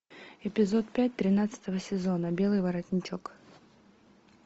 эпизод пять тринадцатого сезона белый воротничок